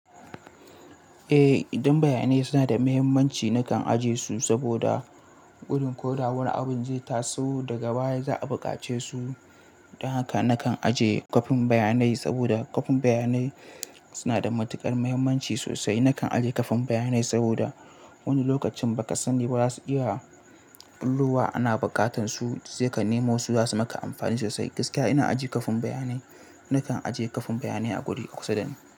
Eh, idan bayanai suna da mahimmanci nakan ajiye su saboda gudun ko da wani abin zai taso daga baya za a buƙace su. Don haka nakan ajiye kwafin bayanai saboda kwafin bayanai suna da matukar muhimmanci sosai. Nakan ajiye kwafin bayanai saboda wani lokacin ba ka sani ba za su iya ɓulowa ana buƙatan su zai ka nemo su za su maka amfani sosai. Gaskiya ina ajiye kwafin bayanai, nakan ajiye kwafin bayanai a guri kusa dani.